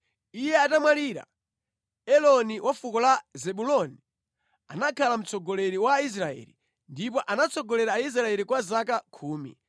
Iye atamwalira, Eloni wa fuko la Zebuloni anakhala mtsogoleri wa Aisraeli, ndipo anatsogolera Aisraeli kwa zaka khumi.